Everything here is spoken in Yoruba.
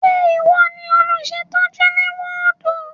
Ṣé ìwọ ni olùṣètọ́jú ní wọ́ọ̀dù?